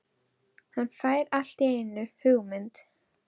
Hann fær allt í einu hugmynd.